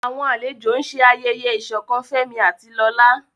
Àwọn àlejò ń ṣe ayẹyẹ ìṣọ̀kan Fẹ́mi àti Lola.